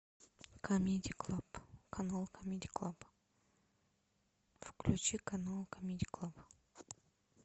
камеди клаб канал камеди клаб включи канал камеди клаб